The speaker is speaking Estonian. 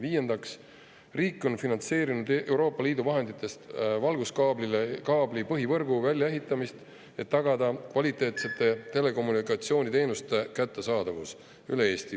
Viiendaks, riik on finantseerinud Euroopa Liidu vahenditest valguskaablite põhivõrgu väljaehitamist, et tagada kvaliteetsete telekommunikatsiooniteenuste kättesaadavus üle Eesti.